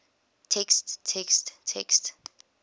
text text text